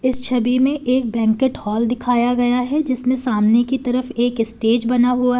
इस छवि में एक बैंक्वेट हॉल दिखाया गया है जिसमें सामने की तरफ एक स्टेज बना हुआ है।